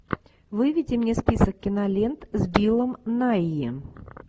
выведи мне список кинолент с биллом найи